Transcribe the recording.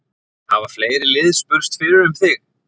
Hafa fleiri lið spurst fyrir um þig?